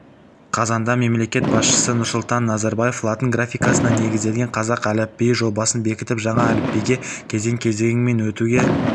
қазанда мемлекет басшысы нұрсұлтан назарбаев латын графикасына негізделген қазақ әліпбиі жобасын бекітіп жаңа әліпбиге кезең-кезеңмен өтуге